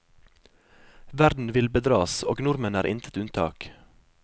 Verden vil bedras, og nordmenn er intet unntak.